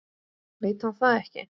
Veit hann það ekki?